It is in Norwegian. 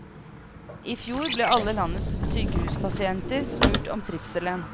I fjor ble alle landets sykehuspasienter spurt om trivselen.